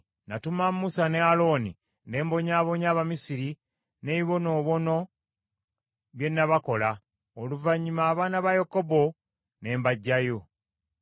“ ‘Natuma Musa ne Alooni, ne mbonyaabonya Abamisiri n’ebibonoobono bye nabakola, oluvannyuma abaana ba Yakobo ne mbaggyayo.